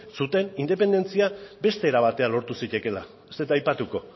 zuten independentzia beste era batera lortu zitekeela ez dut aipatuko